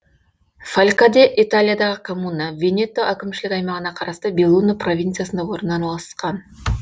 фалькаде италиядағы коммуна венето әкімшілік аймағына қарасты беллуно провинциясында орналасқан